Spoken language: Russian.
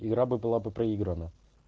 игра бы была бы проиграна